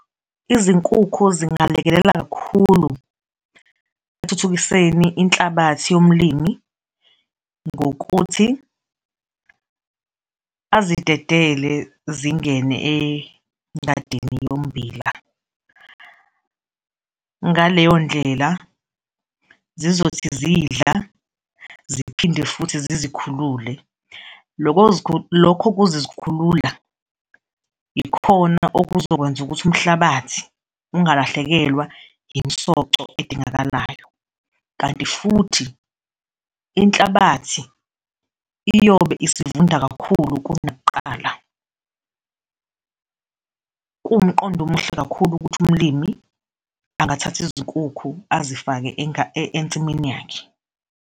Izinkukhu zingalekelela kakhulu ekuthuthukiseni inhlabathi yomlimi ngokuthi azidedele zingene engadini yommbila, ngaleyo ndlela, zizothi zidla ziphinde futhi zizikhulule. Lokho lokho kuzizkhulula ikhona okuzokwenza ukuthi umhlabathi ungalahlekelwa imisoco edingakalayo kanti futhi inhlabathi iyobe isivunda kakhulu kunakuqala. Kuwumqondo omuhle kakhulu ukuthi umlimi angathatha izinkukhu azifake ensimini yakhe.